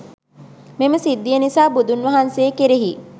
මෙම සිද්ධිය නිසා, බුදුන් වහන්සේ කෙරෙහි